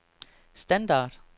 standard